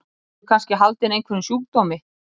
Ertu kannski haldinn einhverjum sjúkdómi?